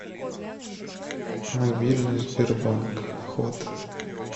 мобильный сбербанк вход